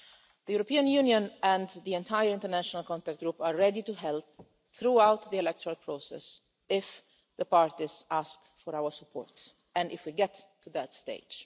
The European Union and the entire international contact group are ready to help throughout the electoral process if the parties ask for our support and if we get to that stage.